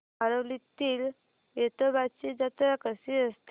आरवलीतील वेतोबाची जत्रा कशी असते